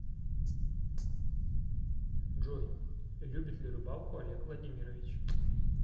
джой любит ли рыбалку олег владимирович